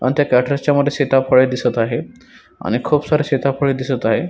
आणि त्या कॅट्रस च्या मध्ये सिताफळे दिसत आहे आणि खुप सारे सिताफळे दिसत आहे.